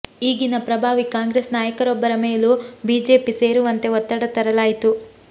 ಈಗಿನ ಪ್ರಭಾವಿ ಕಾಂಗ್ರೆಸ್ ನಾಯಕರೊಬ್ಬರ ಮೇಲೂ ಬಿಜೆಪಿ ಸೇರುವಂತೆ ಒತ್ತಡ ತರಲಾಯಿತು